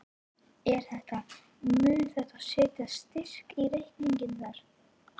Er þetta, mun þetta setja strik í reikninginn þar?